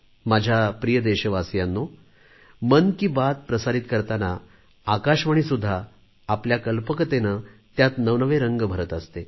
माझ्या प्रिय देशवासियांनो मन की बात प्रसारीत करताना आकाशवाणीसुद्धा आपल्या कल्पकतेने त्यात नवनवे रंग भरत असते